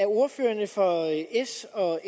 ordførerne for s og